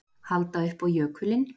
Halda upp á jökulinn